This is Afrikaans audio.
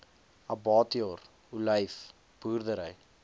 abbatior olyf boerdery